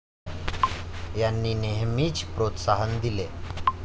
यांनी नेहेमीच प्रोत्साहन दिले.